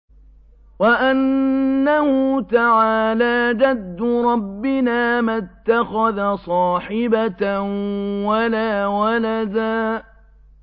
وَأَنَّهُ تَعَالَىٰ جَدُّ رَبِّنَا مَا اتَّخَذَ صَاحِبَةً وَلَا وَلَدًا